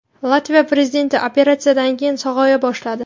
Latviya prezidenti operatsiyadan keyin sog‘aya boshladi.